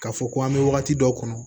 K'a fɔ ko an bɛ wagati dɔw kɔnɔ